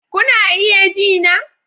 Kuna iya ji na?